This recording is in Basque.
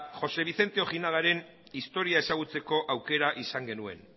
jose vicente ojinagaren historia ezagutzeko aukera izan genuen